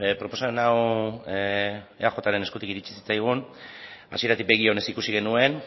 proposamen hau eajren eskutik iritsi zitzaigun hasieratik begi onez ikusi genuen